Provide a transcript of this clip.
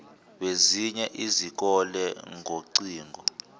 bezinye izikole ngocingo